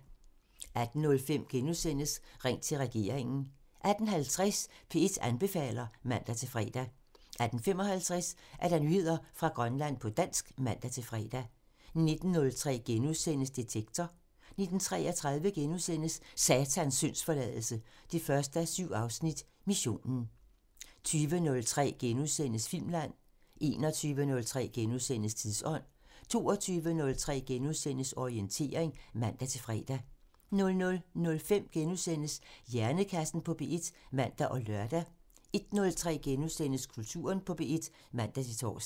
18:05: Ring til regeringen *(man) 18:50: P1 anbefaler (man-fre) 18:55: Nyheder fra Grønland på dansk (man-fre) 19:03: Detektor *(man) 19:33: Satans syndsforladelse 1:7 – Missionen * 20:03: Filmland *(man) 21:03: Tidsånd *(man) 22:03: Orientering *(man-fre) 00:05: Hjernekassen på P1 *(man og lør) 01:03: Kulturen på P1 *(man-tor)